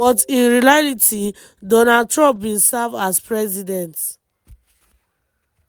“but in reality donald trump bin serve as president.